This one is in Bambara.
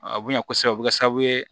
A bonya kosɛbɛ o bɛ kɛ sababu ye